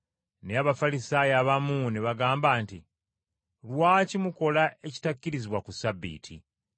Naye Abafalisaayo abamu ne bagamba nti, “Lwaki mukola ekitakkirizibwa ku Ssabbiiti?”